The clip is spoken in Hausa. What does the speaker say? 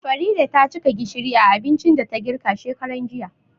Farida tacika gishiri a abincin da ta girka shekaran jiya